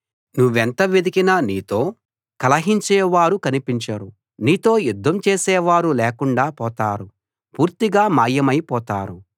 నువ్వెంత వెదికినా నీతో కలహించే వారు కనిపించరు నీతో యుద్ధం చేసే వారు లేకుండా పోతారు పూర్తిగా మాయమైపోతారు